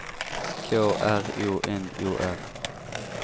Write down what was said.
K R O N O R